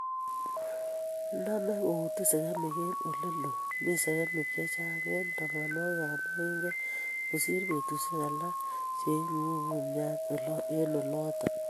inamei koutin segemik eng' ole loo, mi segemik che chaang' eng' tabananwokikap moinget kosiir betusiek alak ak ing'uu kumyat olooton.